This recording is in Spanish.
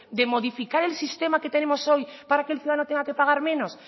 de modificar el sistema que tenemos hoy para que el ciudadano tenga que pagar menos